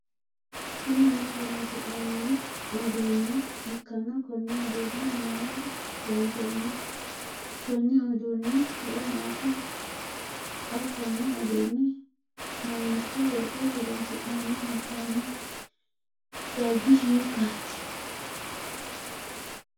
Kunni mine horoonsi'nanni uduune ikanna konne uduune mayinni loonsoonni? Konni uduunni horo maati? X konne uduune mamiicho wore horoonsi'nanni hee'nonni dargi hiikaate?